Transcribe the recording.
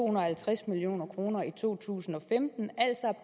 og halvtreds million kroner i to tusind og femten altså